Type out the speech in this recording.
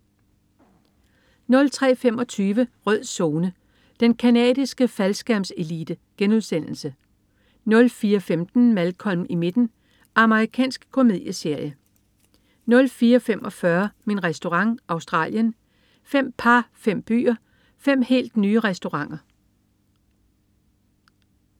03.25 Rød Zone: Den canadiske faldskærmselite* 04.15 Malcolm i midten. Amerikansk komedieserie 04.45 Min Restaurant. Australien. Fem par, fem byer, fem helt nye restauranter